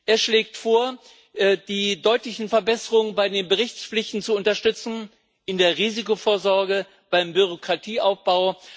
Er schlägt vor, die deutlichen Verbesserungen bei den Berichtspflichten zu unterstützen in der Risikovorsorge, beim Bürokratieabbau.